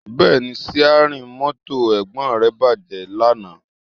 Bẹ́ẹ̀ni, síárìn mọ́tò Ẹ̀gbọ́n rẹ bàjẹ́ lánàá